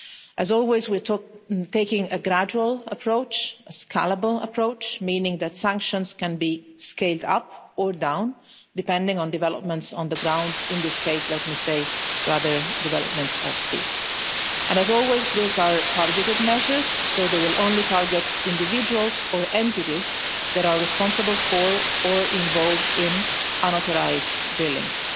As always, we're taking a gradual approach, a scalable approach, meaning that sanctions can be scaled up or down, depending on developments on the ground, in this case let me say rather developments at sea. And, as always, these are targeted measures so they will only target individuals or entities that are responsible for, or involved in, unauthorised drillings.